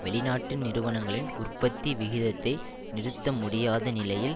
வெளி நாட்டு நிறுவனங்களின் உற்பத்தி விகிதத்தை நிறுத்த முடியாத நிலையில்